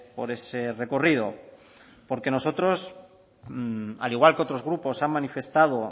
por ese recorrido porque nosotros al igual que otros grupos han manifestado